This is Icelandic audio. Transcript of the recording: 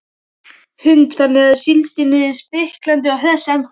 Hrund: Þannig að síldin er spriklandi og hress ennþá?